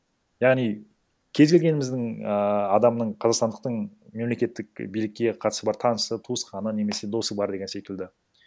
яғни кез келгеніміздің ыыы адамның қазақстандықтың мемлекеттік билікке қатысы бар танысы туысқаны немесе досы бар деген секілді